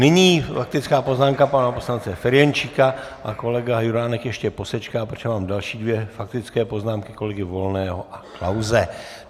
Nyní faktická poznámka pana poslance Ferjenčíka a kolega Juránek ještě posečká, protože mám další dvě faktické poznámky - kolegy Volného a Klause.